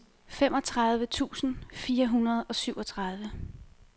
femogtredive tusind fire hundrede og syvogtredive